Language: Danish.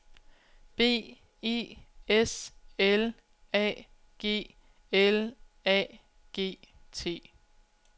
B E S L A G L A G T